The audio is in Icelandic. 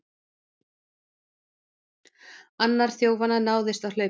Annar þjófanna náðist á hlaupum